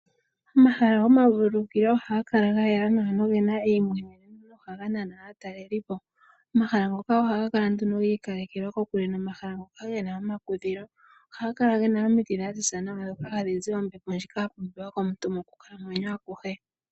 Omahala gomavululukilo ohaga kala ga yela noge na eimweneno taga nana aatelelipo. Omahala ngoka ohaga kala giikalekelwa kokule nomahala ngono ge na omakudhilo. Ohaga kala ge na omiti dha ziza nawa dhoka hadhi zi ombepo ya pumbiwa komuntu mokukalamwenyo akuhe.